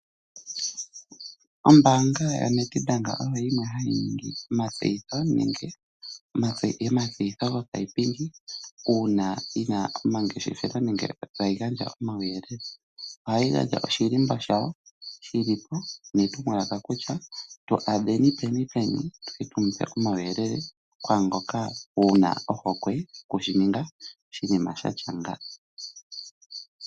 Ombaanga yaNEDBANK oyo yimwe hayi ningi omatseyitho nenge omatseyitho gopaipindi uuna yina omangeshefelo nenge tayi gandja omauyelele. Ohayi gandja oshilimbo shayo netumwalaka kutya tu adheni peni, peni tuye tumu pe omauyelele kwaangoka wuna ohokwe okushi ningwa oshinima shatya nga.